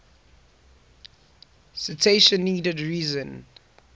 citation needed reason